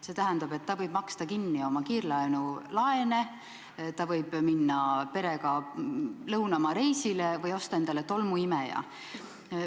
See tähendab, et ta võib maksta kinni oma kiirlaene, ta võib minna perega lõunamaareisile või osta endale tolmuimeja.